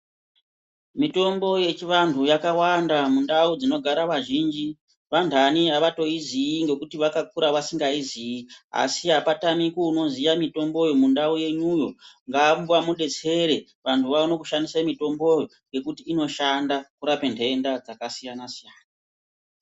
Mitombo yechivantu yakawanda mundau dzinogara vazhinji. Vandani havatoiziyi ngekuti vakakura vasingaizii asi apatamiki unoziya mitomboyo mundau yenyuyo. Ngamba mubetsere antu vaone kushandisa mitomboyo ngekuti inoshanda kurape ntenda dzakasiyana-siyana.